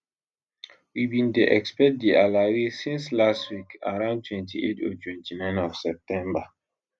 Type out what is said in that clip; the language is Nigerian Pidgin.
we bin dey expect di alawee since last week around 28 or 29 of september